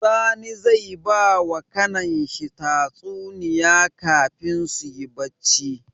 Sani zai bawa kAnan shi tsatuniya kafin suyi bacci